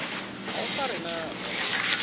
ha o sa re natsa